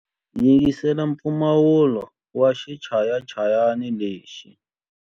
Yingisela mpfumawulo wa xichayachayani lexi.